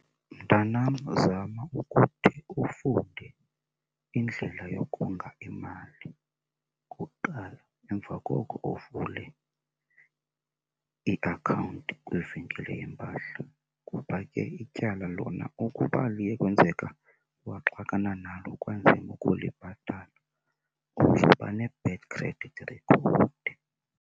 Mntanam, zama ukuthi ufunde indlela yokonga imali okokuqala, emva koko uvule iakhawunti kwivenkile yempahla. Kuba ke ityala lona ukuba liye kwenzeka waxakana nalo kwanzima ukulibhatala uzoba ne-bad credit record.